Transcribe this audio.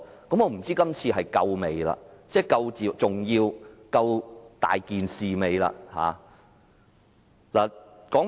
我不知道這次事件是否足夠重要，是否足夠嚴重。